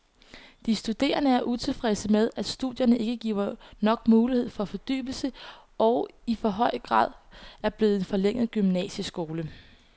De studerende er utilfredse med, at studierne ikke giver nok mulighed for fordybelse og i for høj grad er blevet en forlænget gymnasieskole.